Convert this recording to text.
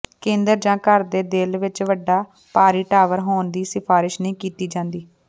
ਕੇਂਦਰ ਜਾਂ ਘਰ ਦੇ ਦਿਲ ਵਿੱਚ ਵੱਡਾ ਭਾਰੀ ਟਾਵਰ ਹੋਣ ਦੀ ਸਿਫਾਰਸ਼ ਨਹੀਂ ਕੀਤੀ ਜਾਂਦੀ